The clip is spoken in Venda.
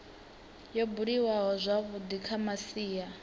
yo buliwaho zwavhui kha masia